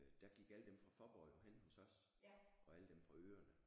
Øh der gik alle dem fra Faaborg jo henne hos os og alle dem fra øerne